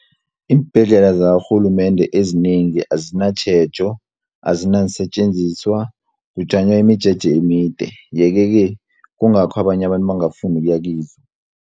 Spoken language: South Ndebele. Iimbhedlela zakarhulumende ezinengi azinatjhejo, azinaseentjenziswa kujanywa imijeje emide, yeke-ke kungakho abanye abantu bangafuni ukuyakizo.